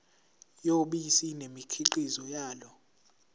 yobisi nemikhiqizo yalo